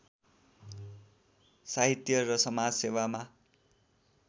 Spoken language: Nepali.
साहित्य र समाजसेवामा